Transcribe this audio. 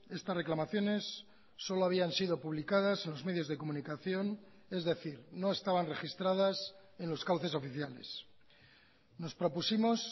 estas reclamaciones solo habían sido publicadas en los medios de comunicación es decir no estaban registradas en los cauces oficiales nos propusimos